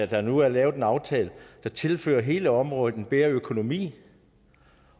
der nu er lavet en aftale der tilfører hele området en bedre økonomi